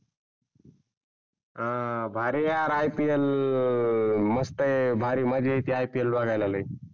आह भारी आहे या IPL मस्त आहे, भारी मजा येते. IPL बघायला लय.